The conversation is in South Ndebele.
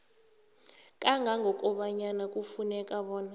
kangangobanyana kufuneka bona